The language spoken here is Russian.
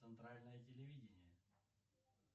центральное телевидение